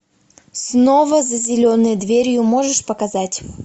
снова за зеленой дверью можешь показать